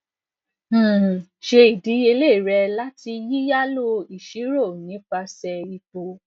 um ṣe idiyele rẹ lati yiyalo iṣiro nipasẹ ipo